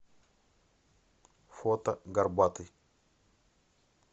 фото горбатый